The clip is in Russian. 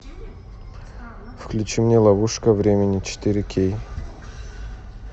включи мне ловушка времени четыре кей